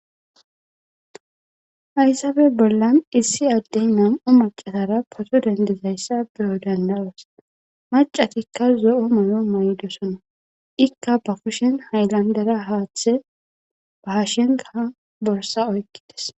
Haysappe bollan issi addey nam"u macatara potto dendizayssa beyo dandda'os. macatikka zo'o mayo may'dosona ikka ba kushen haylandera haaththe ba hashenkaa borssa oyqqides